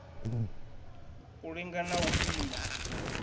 u linga na u pima